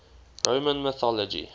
roman mythology